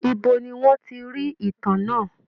Ibo ni wọ́n ti rí ìtàn náà?